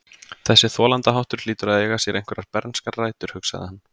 Þessi þolandaháttur hlýtur að eiga sér einhverjar bernskar rætur, hugsaði hann.